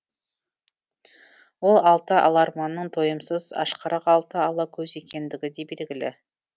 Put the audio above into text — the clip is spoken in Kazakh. ол алты аларманның тойымсыз ашқарақ алты ала көз екендігі де белгілі